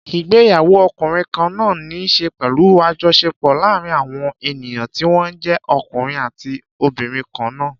Ìgbéyàwó ọkùnrin kan náà ní í ṣe pẹ̀lú àjọṣepọ̀ láàárín àwọn ènìyàn tí wọ́n jẹ́ ọkùnrin àti obìnrin kan náà.